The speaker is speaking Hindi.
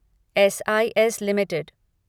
S I S limited